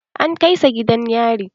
An kai sa gidan yari.